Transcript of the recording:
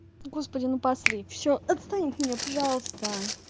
господи ну посри всё отстань от меня пожалуйста